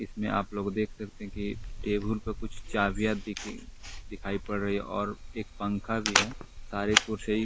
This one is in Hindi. इसमें आप लोग देख सकते हैं कि टेबल पर कुछ चाबियां दिखाई पड़ रही है और एक पंखा भी है सारे को।